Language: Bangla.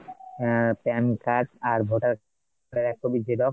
আহ pan card আর voter card এর এক copy Xerox